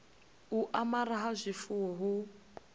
u amara ha zwifuwo hu